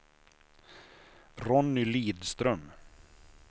Ronny Lidström